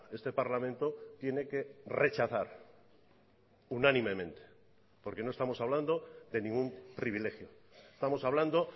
este parlamento tiene que rechazar unánimemente porque no estamos hablando de ningún privilegio estamos hablando